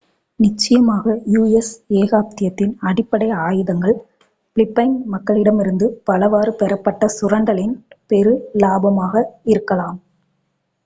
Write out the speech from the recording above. நிச்சயமாக u.s. ஏகாதிபத்தியத்தின் அடிப்படை ஆதாயங்கள் பிலிப்பைன் மக்களிடமிருந்து பலவாறு பெறப்பட்ட சுரண்டலின் பெரு இலாபமாக இருக்கலாம்